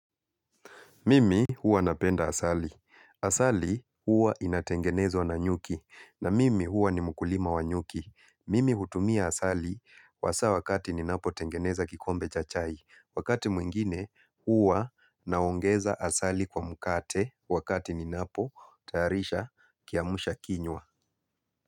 Mimi huwa napenda asali. Asali huwa inatengenezwa na nyuki. Na mimi huwa ni mkulima wa nyuki. Mimi hutumia asali hasa wakati ninapotengeneza kikombe cha chai. Wakati mwingine huwa naongeza asali kwa mkate wakati ninapotarisha kiamshakinywa.